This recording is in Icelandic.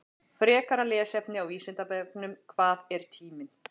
Frekara lesefni á Vísindavefnum: Hvað er tíminn?